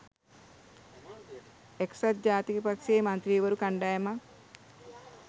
එක්සත් ජාතික පක්ෂයේ මන්ත්‍රීවරු කණ්ඩායමක්